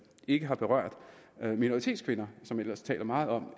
ikke har berørt minoritetskvinder som man ellers taler meget om